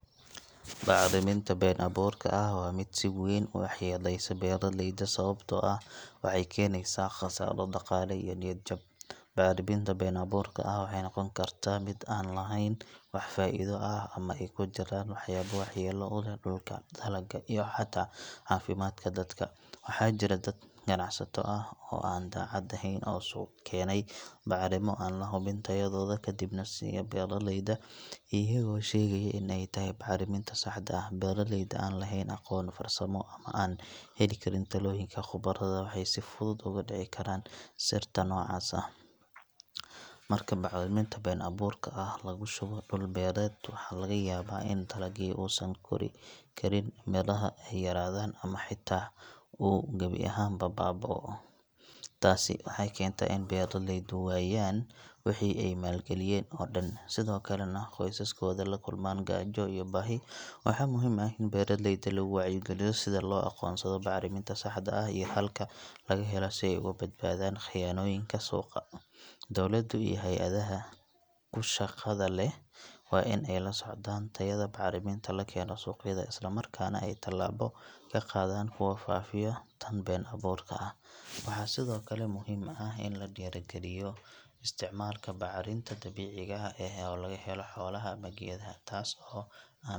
Bacdaminta ben abuurka wa mid si weeyn u xeleysan wa mid Aya sawabta aah waxay keeneysah qassaro daqale iyo niyajab, bacdaweynta bin abuurka waxana noqonbkartah mid an aheyn faidibaah amah noqoni kartah dulka dalaga iyo xata cafimadka dadka , waxajirah dad qanacsato aah oo dacat aahen oo suuq keeney macaliminta oo lahubin kadibanh siiyah beerleyda iyago shegaya inay tahay macalinmada mida daxda beraleyda laheen aqoon amah farsamo oo heli Karin talonyink qabornimada waxaybsibfuthut ugu dici Karan sirta nocas aah marka maciminta been abuurka lagushubih wareet waxlagayab ini dalagyada oo San Karin melaha yaradanbamah xata oo jawi aahn baabaoh, taasi waxay keentah inay beraleyda wataan wixi ay malagaliyren oo dhan qisaskotha lakulman kajo iyo bahi waxa muhim aah in beraleyda lawacyi kaliyoh in la aqonsadih macalimta saxda aah iyo Halka lakaheloh sibay ugu badbathan qayanin suuqa dowalada iyo hayada kushqathableeh bwa in ay laoscdan tayada macaraminta lageenoh suqyada islamarkana tilabo kaqathan oo fafiyah taan been abuurka waxasithokali muhim aah ini la kaliyoh isticmalka decika oo lagaheloh xolaha amah keetha.